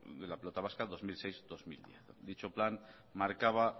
de la pelota vasca dos mil seis dos mil diez dicho plan marcaba